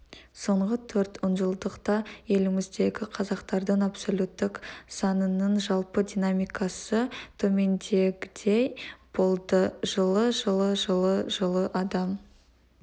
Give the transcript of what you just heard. соңғы төрт онжылдықта еліміздегі қазақтардың абсолюттік санының жалпы динамикасы төмендегідей болды жылы жылы жылы жылы адам